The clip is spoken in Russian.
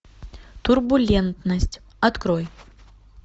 турбулентность открой